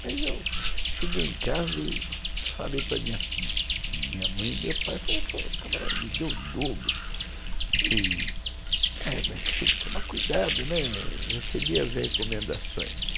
Mas eu cheguei em casa e falei para minha mãe e meu pai, falei, o camarada me deu o dobro, mas tem que tomar cuidado, recebi as recomendações.